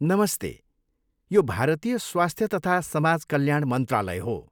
नमस्ते! यो भारतीय स्वास्थ्य तथा समाज कल्याण मन्त्रालय हो।